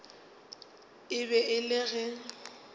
e be e le ge